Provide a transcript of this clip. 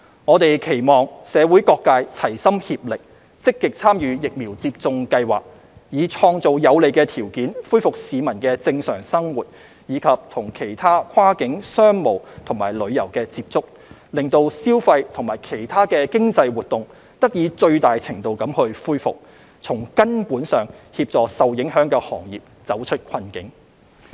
我們期望社會各界齊心協力，積極參與疫苗接種計劃，以創造有利條件恢復市民的正常生活及與其他跨境商務和旅遊接觸，讓消費及其他經濟活動得以最大程度地恢復，從根本上協助受影響的行業走出困境。